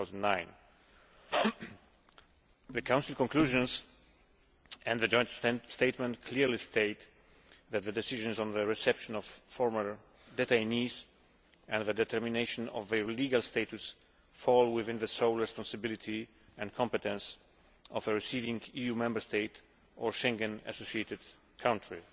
2009. The Council conclusions and the joint statement clearly state that the decisions on the reception of former detainees and the determination of their legal status fall within the sole responsibility and competence of a receiving EU Member State or Schengen associated country.